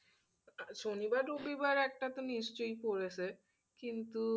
শনিবার রবিবার একটা তো নিশ্চই পরেছে কিন্তু